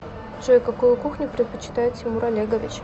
джой какую кухню предпочитает тимур олегович